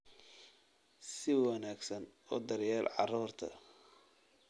Si wanaagsan u daryeel carruurta